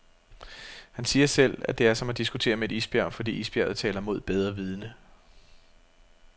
Han siger selv at det er som at diskutere med et isbjerg, fordi isbjerget taler mod bedre vidende.